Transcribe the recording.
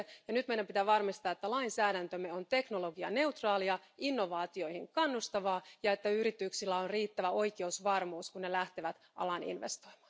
Nyt meidän pitää varmistaa, että lainsäädäntömme on teknologianeutraalia ja innovaatioihin kannustavaa ja että yrityksillä on riittävä oikeusvarmuus, kun ne lähtevät alaan investoimaan.